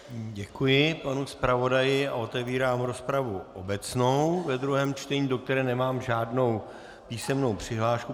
Děkuji panu zpravodaji a otevírám rozpravu obecnou ve druhém čtení, do které nemám žádnou písemnou přihlášku.